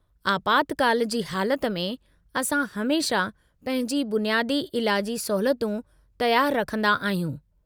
आपातकाल जी हालति में, असां हमेशह पंहिंजी बुनियादी इलाजी सहूलियतूं तयारु रखंदा आहियूं।